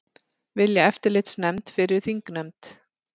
Vilja eftirlitsnefnd fyrir þingnefnd